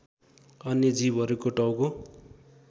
अन्य जीवहरूको टाउको